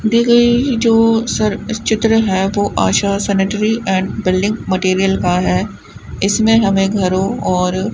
दी गई जो सर चित्र है वो Asha sanitary and building material का है इसमें हमें घरों और --